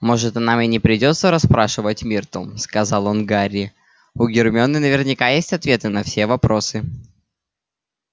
может нам и не придётся расспрашивать миртл сказал он гарри у гермионы наверняка есть ответы на все вопросы